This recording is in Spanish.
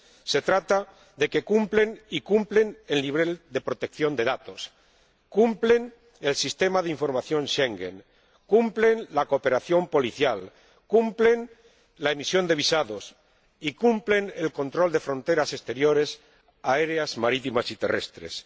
Se trata de que cumplen cumplen el nivel de protección de datos, cumplen el Sistema de Información de Schengen, cumplen la cooperación policial, cumplen la emisión de visados y cumplen el control de fronteras exteriores aéreas, marítimas y terrestres.